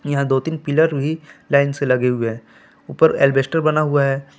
यहां दो तीन पिलर हुई लाइन से लगे हुए हैं ऊपर अल्बेस्टर बना हुआ है ।